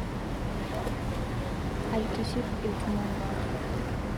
Aitiship iltunganak.